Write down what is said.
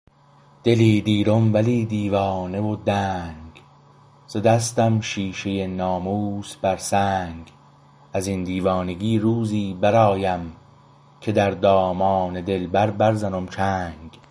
دلی دیرم ولی دیوانه و دنگ زده ستم شیشه ناموس بر سنگ ازین دیوانگی روزی برآیم که در دامان دلبر برزنم چنگ